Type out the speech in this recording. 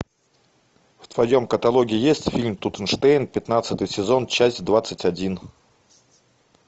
в твоем каталоге есть фильм тутенштейн пятнадцатый сезон часть двадцать один